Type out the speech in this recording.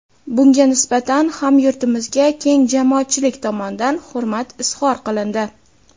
Bunga nisbatan hamyurtimizga keng jamoatchilik tomonidan hurmat izhor qilindi.